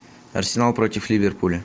арсенал против ливерпуля